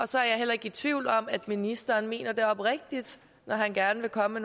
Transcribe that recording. så er jeg heller ikke i tvivl om at ministeren mener det oprigtigt når han gerne vil komme